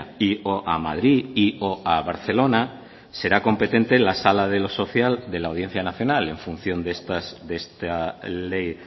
y o a madrid y o a barcelona será competente la sala de lo social de la audiencia nacional en función de esta ley